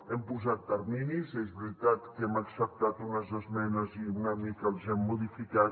hem posat terminis és veritat que hem acceptat unes esmenes i una mica els hem modificat